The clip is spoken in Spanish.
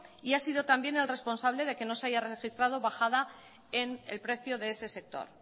y ha sido también el responsable de que no haya registrado bajada en el precio de ese sector